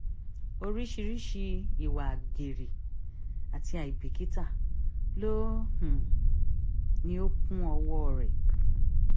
oríṣiríṣii ìwà àgbèrè àti àìbìkítà ló um ní ó kún ọwọ́ um rẹ̀